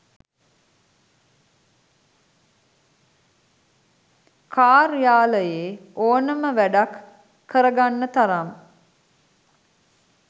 කාර්යාලයේ ඕනම වැඩක් කරගන්න තරම්